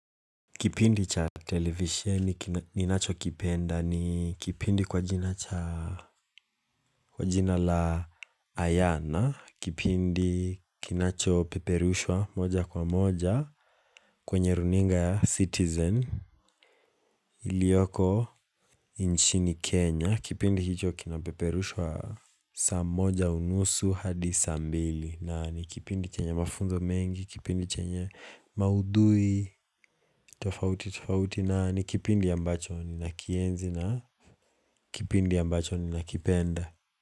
Kipindi cha televisheni ki ninachokipenda ni kipindi kwa jina cha Kwa jina la Ayana Kipindi kinacho peperushwa moja kwa moja kwenye runinga ya citizen Iliyoko inchini Kenya Kipindi hicho kinapeperushwa saa moja unusu hadi saa mbili na ni kipindi chenye mafunzo mengi Kipindi chenye maudhui tufauti tufauti na ni kipindi ambacho ninakienzi na kipindi ambacho ni nakipenda.